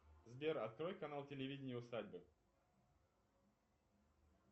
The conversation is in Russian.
сбер открой канал телевидение усадьбы